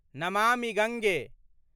Namami Gange